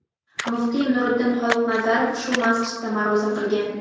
muftiy Nuriddin Xoliqnazarov shu masjidda ma’ruza qilgan.